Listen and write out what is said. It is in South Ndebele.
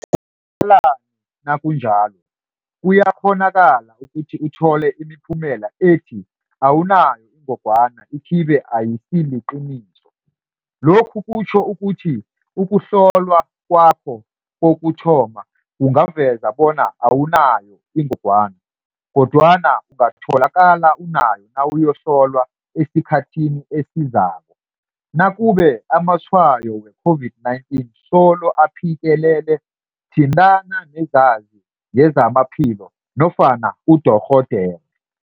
kalani nakunjalo? Kuyakghonakala ukuthi uthole imiphumela ethi awunayo ingogwana ikibe ayisiliqiniso. Lokhu kutjho ukuthi ukuhlolwa khakho kokuthoma kungaveza bona awunayoingogwana, kodwana ungatholakala unayo nawuyohlolwa esikhathini esizako. Nakube amatshwayo we-COVID-19 solo aphikelele thintana nezazi ngezamaphilo nofana udorhodere.